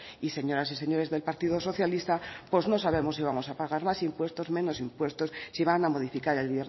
y señoras y señores del partido socialista pues no sabemos si vamos a pagar más impuestos menos impuestos si van a modificar el